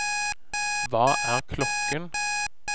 hva er klokken